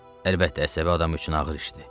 Əlbəttə, əsəbi adam üçün ağır işdir.